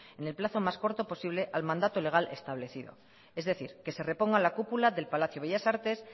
en el plazo más corto posible al mandato legal establecido es decir que se reponga la cúpula del palacio bellas artes